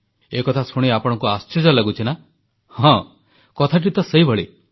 ଏକଥା ଶୁଣି ଆପଣଙ୍କୁ ବି ଆଶ୍ଚର୍ଯ୍ୟ ଲାଗୁଛି ନାଁ ହଁ କଥାଟି ତ ସେଇଭଳି